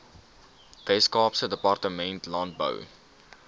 weskaapse departement landbou